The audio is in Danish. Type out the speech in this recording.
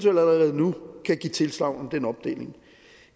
allerede nu kan give tilsagn om den opdeling